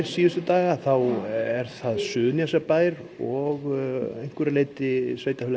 daga þá er það Suðurnesjabær og að einhverju leyti Sveitarfélagið